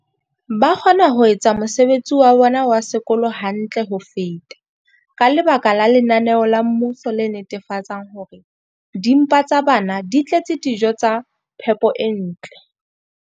Ba kgona ho etsa mosebetsi wa bona wa sekolo hantle ho feta ka lebaka la lenaneo la mmuso le netefatsang hore dimpa tsa bona di tletse dijo tsa phepo e ntle.